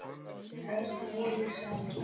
Örn og Elísa.